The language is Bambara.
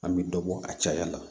An bɛ dɔ bɔ a caya la